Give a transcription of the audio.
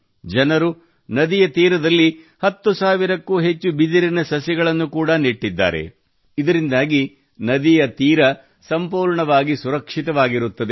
ಜನರು ನದಿಯ ತೀರದಲ್ಲಿ 10 ಸಾವಿರಕ್ಕೂ ಅಧಿಕ ಬಿದಿರಿನ ಸಸಿಗಳನ್ನು ಕೂಡಾ ನೆಟ್ಟಿದ್ದಾರೆ ಇದರಿಂದಾಗಿ ನದಿಯ ತೀರ ಸಂಪೂರ್ಣವಾಗಿ ಸುರಕ್ಷಿತವಾಗಿರುತ್ತದೆ